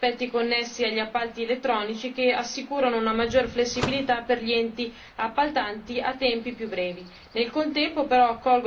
Apprezzo in particolare gli aspetti connessi agli appalti elettronici, che assicurano una maggiore flessibilità per gli enti appaltanti in tempi più brevi.